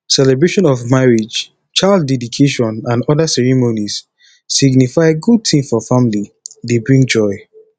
celebration of marriage child deedication and oda ceremonies signify good thing for family e dey bring joy